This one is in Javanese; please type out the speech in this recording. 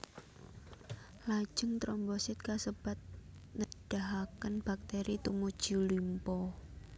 Lajeng trombosit kasebat nedahaken baktèri tumuju limpa